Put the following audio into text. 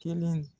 Kelen